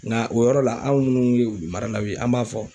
Nga o yɔrɔ la, anw munnu ye wulu maralaw ye an b'a fɔ